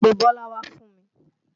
Pe Bọ́lá wá fún mi!